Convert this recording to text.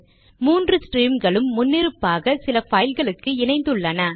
மூன்று ஸ்ட்ரீம்களும் முன்னிருப்பாக சில பைல்களுக்கு இணைந்துள்ளன